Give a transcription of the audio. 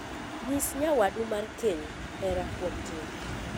Nyis nyawadu mar keny hera kuom tim.